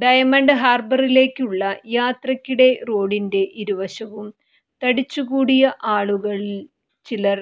ഡയമണ്ട്ഹാർബറിലേക്കുള്ള യാത്രയ്ക്കിടെ റോഡിന്റെ ഇരുവശവും തടിച്ചുകൂടിയ ആളുകളിൽ ചിലർ